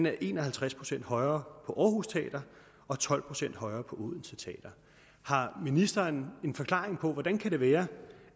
er en og halvtreds procent højere på aarhus teater og tolv procent højere på odense teater har ministeren en forklaring på hvordan det kan være